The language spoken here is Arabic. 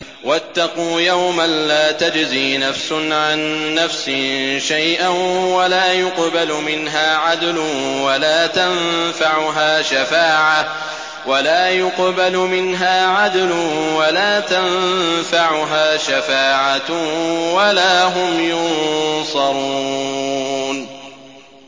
وَاتَّقُوا يَوْمًا لَّا تَجْزِي نَفْسٌ عَن نَّفْسٍ شَيْئًا وَلَا يُقْبَلُ مِنْهَا عَدْلٌ وَلَا تَنفَعُهَا شَفَاعَةٌ وَلَا هُمْ يُنصَرُونَ